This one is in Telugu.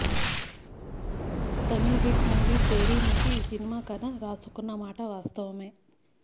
తమిళ హిట్ మూవీ తేరి నుంచి ఈ సినిమా కథ రాసుకున్న మాట వాస్తవమే